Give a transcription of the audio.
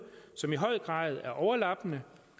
som i høj grad er overlappende